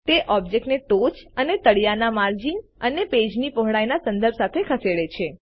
તે ઓબ્જેક્ટને ટોચ અને તળિયાના માર્જિન અને પેજની પહોળાઈના સંદર્ભ સાથે ખસેડે છે